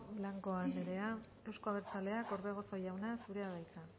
blanco anderea euzko abertzaleak orbegozo jauna zurea da hitza